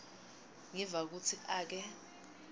ngiva kutsi ake